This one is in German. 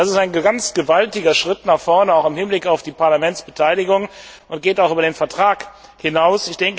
Das ist ein ganz gewaltiger Schritt nach vorne, auch im Hinblick auf die Parlamentsbeteiligung, und geht über den Vertrag hinaus.